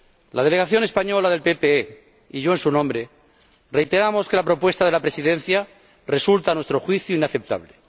La Delegación española del Grupo PPE y yo, en su nombre, reiteramos que la propuesta de la Presidencia resulta, a nuestro juicio, inaceptable.